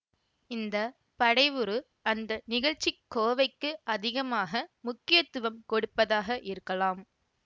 இந்த படைவுரு அந்த நிகழ்ச்சிக் கோவைக்கு அதிகமாக முக்கியத்துவம் கொடுப்பதாக இருக்கலாம்